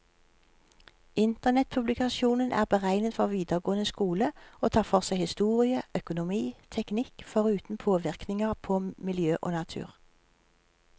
Internettpublikasjonen er beregnet for videregående skole, og tar for seg historie, økonomi, teknikk, foruten påvirkninger på miljø og natur.